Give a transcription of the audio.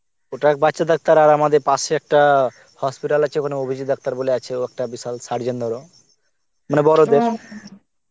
ওটা বাচ্চা র ডাক্তার আর আমাদের পাশে একটা hospital আছে ওখানে অভিজিৎ ডাক্তার বলে আছে ও একটা বিশাল surgeon ধরো, মানে বড়